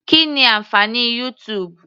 Kí ni ànfàní YouTube.